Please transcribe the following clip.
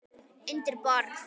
Undir borð.